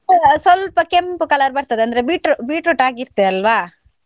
ಸ್ವಲ್ಪ ಕೆಂಪು colour ಬರ್ತದೆ, ಅಂದ್ರೆ beetro~ beetroot ಹಾಕಿರ್ತೇವೆ ಅಲ್ವಾ.